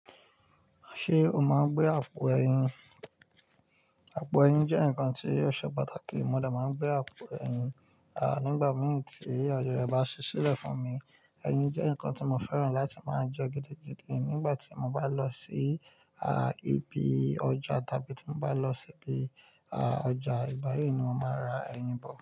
Ṣemo máa ń gbé àpò ẹyin? Àpò ẹyin jẹ́ ǹkan tíó ṣe pàtàkì. Mo dẹ̀ máa ń gbé àpò ẹyin, à nígbà mì tí ayé rẹ̀ bá ṣi ṣi lẹ̀ fún mi. Ẹyin jẹ́ nǹkan tí mo fẹ́ràn láti máa ń jẹ gidi gidi. Nígbà tí mo bá lọ sí, à íbi ọjà tàbí tí mo bá lọ sí ibi, à ọjà ìgbà yí ni mo máa ra ẹyin bọ̀.